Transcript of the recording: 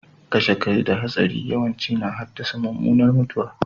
Kashe kai da hatsari yawanci na haddasa mummunar mutuwa.